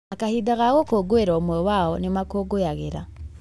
Na kahinda ga gũkũngũĩra ũmwe wao nĩmamũkũngũyagĩra